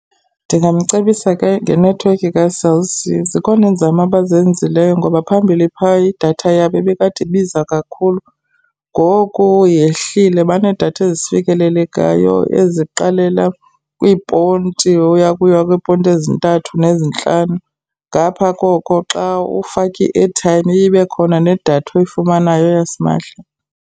Ndingamcebisa ke ngenethiwekhi kaCell C. Zikhona iinzame abazenzileyo ngoba phambili phaya idatha yabo ibikade ibiza kakhulu ngoku yehlile, baneedatha ezifikelelekayo eziqalela kwiiponti uya uya kwiiponti ezintathu nezintlanu. Ngapha koko xa ufaka i-airtime iye ibe khona nedatha oyifumanayo yasimahla.